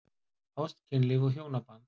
ÁST, KYNLÍF OG HJÓNABAND